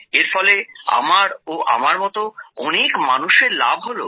এর ফলে আমার ও আমার মতো অনেক মানুষের লাভ হল